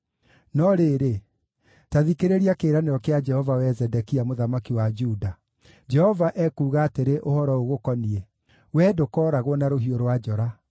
“ ‘No rĩrĩ, ta thikĩrĩria kĩĩranĩro kĩa Jehova, wee Zedekia mũthamaki wa Juda. Jehova ekuuga atĩrĩ ũhoro ũgũkoniĩ: Wee ndũkooragwo na rũhiũ rwa njora;